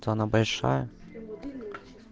самая большая